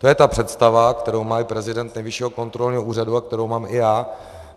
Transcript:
To je ta představa, kterou má i prezident Nejvyššího kontrolního úřadu a kterou mám i já.